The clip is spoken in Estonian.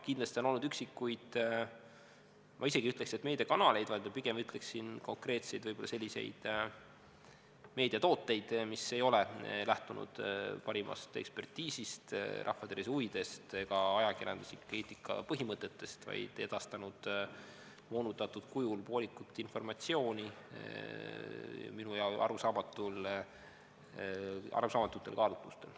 Kindlasti on olnud üksikuid, ma isegi ei ütleks, et meediakanaleid, vaid ma pigem ütleksin, et konkreetseid selliseid meediatooteid, mis ei ole lähtunud parimast ekspertiisist, rahvatervise huvidest ega ajakirjandusliku eetika põhimõtetest, vaid on edastanud moonutatud kujul poolikut informatsiooni, minule arusaamatutel kaalutlustel.